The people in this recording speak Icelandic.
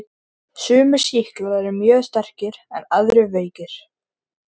Sumir sýklar eru mjög sterkir en aðrir veikir.